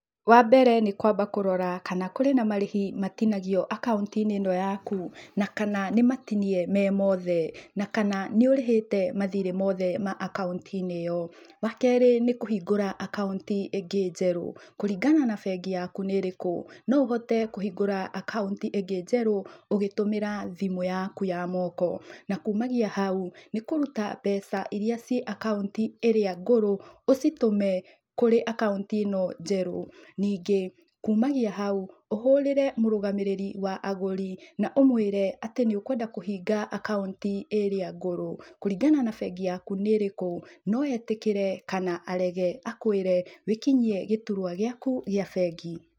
Wa mbere nĩ kwamba kũrora kana kũrĩ na marĩhi matinagio akaunti-inĩ ĩno yaku na kana nĩmatinie me moothe na kana nĩũrĩhĩte mathĩrĩ moothe ma akaunti-inĩ ĩyo. Wa kerĩ, nĩ kũhingũra akaunti ĩngĩ njerũ, kũringana na bengi yaku nĩ ĩrĩkũ no ũhote kũhingũra akaunti ĩngĩ njerũ ũgĩtũmĩra thimũ yaku ya moko na kumania na hau nĩkũruta mbeca irĩa ci akaunti ĩrĩa ngũrũ ũcitũme kũrĩ akaunti ĩ no njerũ. Ningĩ kumania hau, ũhũrĩre mũrũgamĩrĩri wa agũri na ũmwĩre atĩ nĩ ũkwenda kũhinga akaunti ĩrĩa ngũrũ. Kũringana na bengi yaku nĩ ĩrĩkũ no etĩkĩre kana arege, akũĩre wĩkinyie gĩturwa gĩaku gĩa bengi.